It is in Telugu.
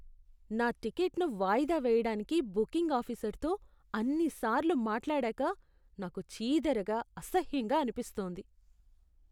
నా టిక్కెట్ను వాయిదా వేయడానికి బుకింగ్ ఆఫీసర్తో అన్నిసార్లు మాట్లాడాక నాకు చీదరగా, అసహ్యంగా అనిపిస్తోంది.